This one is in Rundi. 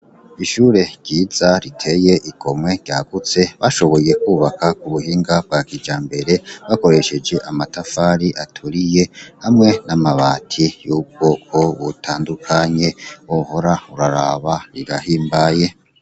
Ishure ryiza riteye igomwe ryagutse bashoboye kwubaka ku buhinga bwakijambere bakoresheje amatafari aturiye hamwe n'amabati y'ubwoko butandukanye, wohora uraraba rirahimbaye.